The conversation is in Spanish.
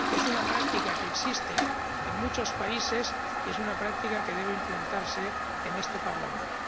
Es una práctica que existe en muchos países y es una práctica que debe implantarse en este Parlamento.